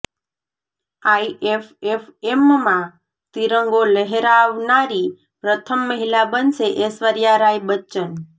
આઇએફએફએમમાં તિરંગો લહેરાવનારી પ્રથમ મહિલા બનશે ઐશ્વર્યા રાય બચ્ચન